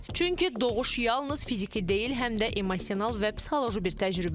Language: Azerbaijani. Çünki doğuş yalnız fiziki deyil, həm də emosional və psixoloji bir təcrübədir.